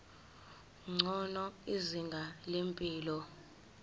ngcono izinga lempilo